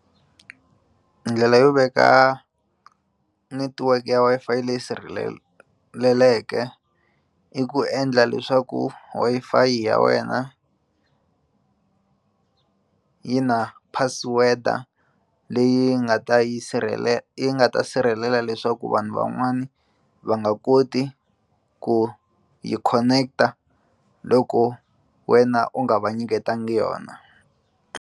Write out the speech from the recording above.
Ndlela yo veka network ya Wi-Fi leyi i ku endla leswaku Wi-Fi ya wena yi na password leyi nga ta yi sirhelela yi nga ta sirhelela leswaku vanhu van'wani va nga koti ku yi connect-a loko wena u nga va nyiketanga yona.